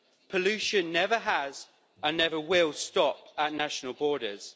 Pollution never has, and never will, stop at national borders.